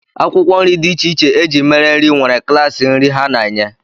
Akwụkwọ nri dị iche iche e ji mere nri nwere klaasị nri ha na-enye